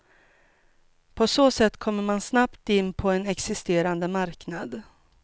På så sätt kommer man snabbt in på en existerande marknad.